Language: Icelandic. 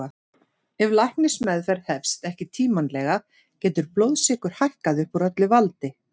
Ef læknismeðferð hefst ekki tímanlega getur blóðsykur hækkað upp úr öllu valdi.